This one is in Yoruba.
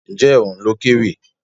Ǹjẹ́ òun ló kéwì?